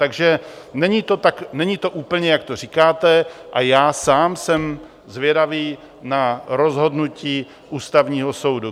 Takže není to úplně, jak to říkáte, a já sám jsem zvědavý na rozhodnutí Ústavního soudu.